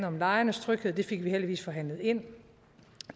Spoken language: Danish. om lejernes tryghed det fik vi heldigvis forhandlet ind